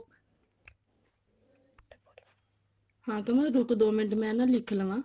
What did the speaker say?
ਹਾਂ ਕਮਲ ਰੁੱਕ ਦੋ ਮਿੰਟ ਮੈਂ ਲਿੱਖ ਲਵਾਂ